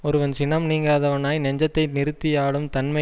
ஒருவன் சினம் நீங்காதவனாய் நெஞ்சத்தை நிறுத்தியாளும் தன்மை